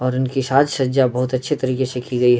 और उनकी साज सज्जा बहोत अच्छी तरीके से की गई --